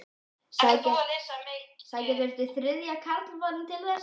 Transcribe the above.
Sækja þurfti þriðja karlmanninn til þess.